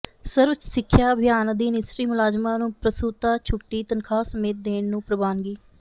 ਸਰਵ ਸਿੱਖਿਆ ਅਭਿਆਨ ਅਧੀਨ ਇਸਤਰੀ ਮੁਲਾਜ਼ਮਾਂ ਨੂੰ ਪ੍ਰਸੂਤਾ ਛੁੱਟੀ ਤਨਖਾਹ ਸਮੇਤ ਦੇਣ ਨੂੰ ਪ੍ਰਵਾਨਗੀ